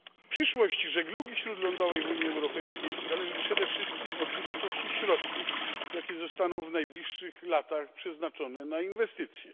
Przyszłość żeglugi śródlądowej w Unii Europejskiej zależy przede wszystkim od wysokości środków, jakie zostaną w najbliższych latach przeznaczone na inwestycje.